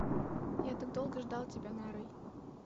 я так долго ждал тебя нарой